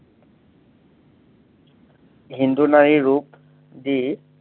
হিন্দু নাৰীৰ ৰূপ, যি